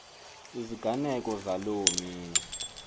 iziganeko zaloo mini